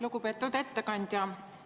Lugupeetud ettekandja!